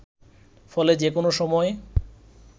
ফলে যে কোন সময়